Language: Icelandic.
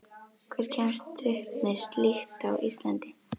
Hver kemst upp með slíkt á Íslandi?